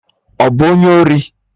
Ọ bụ onye ori!